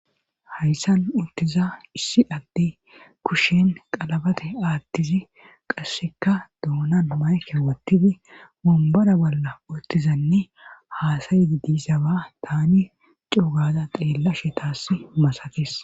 hayssan uttiza issi adde kushen qalabate aattizi qasseka duonan mayke wottidi mumbara bolla uttizanne haasayidi diisaba tani cuugaza xeella shetaas masakis